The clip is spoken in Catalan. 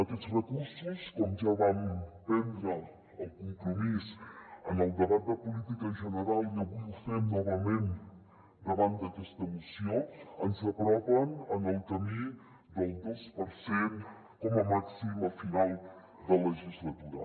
aquests recursos com ja vam prendre el compromís en el debat de política general i avui ho fem novament davant d’aquesta moció ens apropen al camí del dos per cent com a màxim a final de legislatura